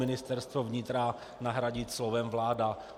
"Ministerstvo vnitra" nahradit slovem "vláda".